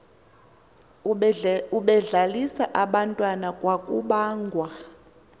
ebedlalisa abantwana kwakubangwa